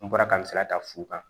N bɔra ka n sara ta fu kan